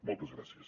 moltes gràcies